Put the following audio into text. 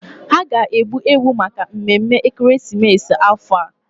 Ha ga-egbu ewu maka mmemme ekeresimesi afọ a.